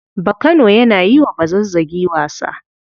Bakano yana yi wa Bazazzagi wasa.